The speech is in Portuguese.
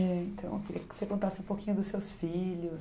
Eh então, eu queria que você contasse um pouquinho dos seus filhos.